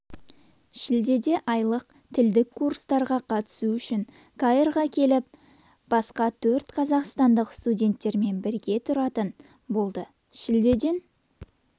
шілдеде айлық тілдік курстарға қатысу үшін каирға келіп басқа төрт қазақстандық студенттермен бірге тұратын болды шілдеден